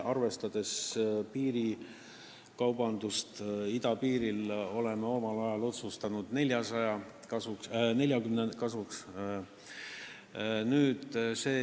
Arvestades piirikaubandust idapiiril, oleme omal ajal otsustanud 40 kasuks.